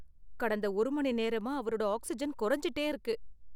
கடந்த ஒரு மணி நேரமா அவரோட ஆக்ஸிஜன் குறைஞ்சுட்டே இருக்கு.